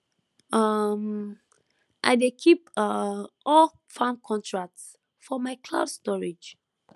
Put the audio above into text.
um i dey keep um all farm contracts for my cloud storage